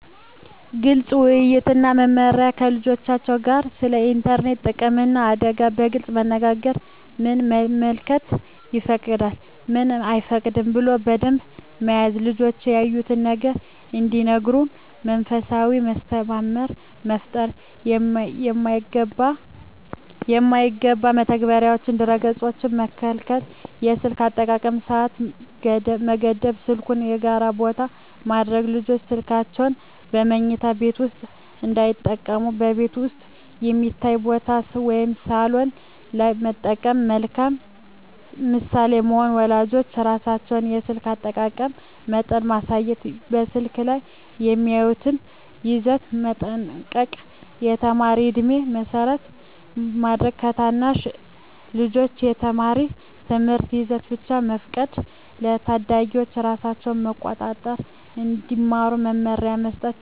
ግልፅ ውይይት እና መመሪያ ከልጆቻቸው ጋር ስለ ኢንተርኔት ጥቅምና አደጋ በግልፅ መነጋገር ምን መመልከት ይፈቀዳል፣ ምን አይፈቀድም ብሎ ደንብ መያዝ ልጆች ያዩትን ነገር እንዲነግሩ መንፈሳዊ መተማመን መፍጠር የማይገባ መተግበሪያዎችንና ድረ-ገፆችን መከልከል የስልክ አጠቃቀም ሰዓት መገደብ ስልኩን በጋራ ቦታ ማድረግ ልጆች ስልካቸውን በመኝታ ቤት ውስጥ እንዳይጠቀሙ በቤት ውስጥ የሚታይ ቦታ (ሳሎን) ላይ መጠቀም መልካም ምሳሌ መሆን ወላጆች ራሳቸው የስልክ አጠቃቀም መጠን ማሳየት በስልክ ላይ የሚያዩትን ይዘት መጠንቀቅ የተማሪ ዕድሜን መሰረት ማድረግ ለታናሽ ልጆች የተማሪ ትምህርታዊ ይዘት ብቻ መፍቀድ ለታዳጊዎች ራሳቸውን መቆጣጠር እንዲማሩ መመሪያ መስጠት ተጨማሪ መቆጣጠሪያ መተግበሪያዎች